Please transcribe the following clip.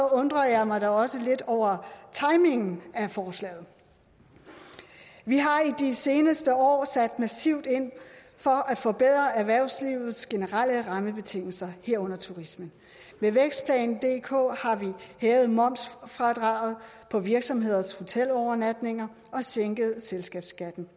undrer jeg mig da også lidt over timingen af forslaget vi har i de seneste år sat massivt ind for at forbedre erhvervslivets generelle rammebetingelser herunder turismens med vækstplan dk har vi hævet momsfradraget på virksomheders hotelovernatninger og sænket selskabsskatten